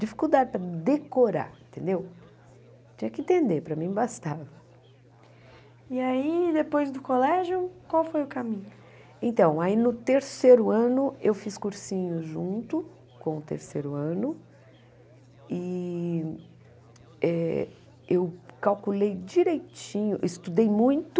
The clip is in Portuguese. dificuldade para decorar entendeu tinha que entender para mim bastava e aí depois do colégio qual foi o caminho então aí no terceiro ano eu fiz cursinho junto com o terceiro ano e eh eu calculei direitinho estudei muito